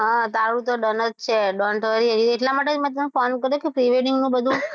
હા તારું તો done જ છે don t worry એટલા માટે જ મેં તને pre - wedding નું બધું